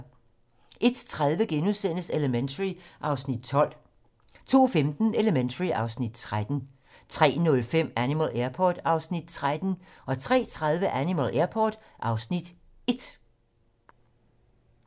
01:30: Elementary (Afs. 12)* 02:15: Elementary (Afs. 13) 03:05: Animal Airport (Afs. 13) 03:30: Animal Airport (Afs. 1)